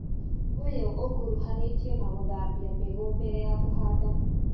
ũyũ ũkũruhanĩtio na gũthambia mbegũ mbere ya kũhanda